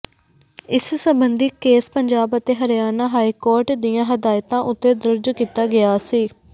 ਇਸ ਸਬੰਧੀ ਕੇਸ ਪੰਜਾਬ ਅਤੇ ਹਰਿਆਣਾ ਹਾਈਕੋਰਟ ਦੀਆਂ ਹਦਾਇਤਾਂ ਉੱਤੇ ਦਰਜ ਕੀਤਾ ਗਿਆ ਸੀ